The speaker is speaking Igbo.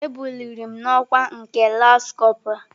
E buliri m n'ọkwa nke lance corpora.